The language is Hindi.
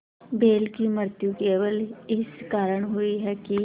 बैल की मृत्यु केवल इस कारण हुई कि